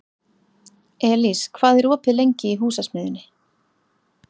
Elís, hvað er opið lengi í Húsasmiðjunni?